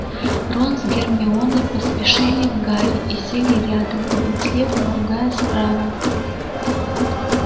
рон с гермионой поспешили к гарри и сели рядом один слева другая справа